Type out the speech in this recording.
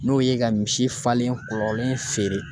N'o ye ka misi falen kɔlen feere